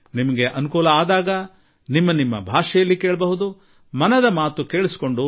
ನೀವು ನಿಮಗೆ ಅನುಕೂಲವಾದ ಸಮಯದಲ್ಲಿ ನಿಮ್ಮದೇ ಆಯ್ಕೆಯ ಭಾಷೆಯಲ್ಲಿ ಮನದ ಮಾತು ಆಲಿಸಬಹುದು